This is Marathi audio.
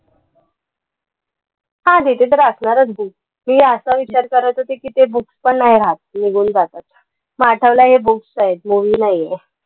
हां तिथे तर असणारच book. मी असा विचार करत होते की ते book पण नाई राहात, निघून जातात. माठाला हे books आहेत, movie नाहीय.